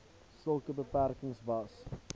sulke besprekings was